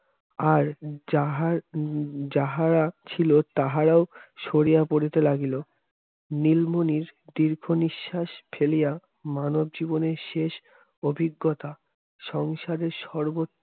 আর যাহার উম যাহারা ছিল তাহারাও শরিয়া পড়িতে লাগিল নীলমণি দীর্ঘ নিঃশ্বাস ফেলিয়া মানব জীবনের শেষ অভিজ্ঞতা সংসারের সর্বোচ্চ